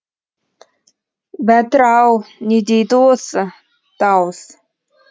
бәтір ау не дейді осы дауыс